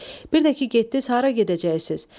Bir də ki, getdiz hara gedəcəksiz?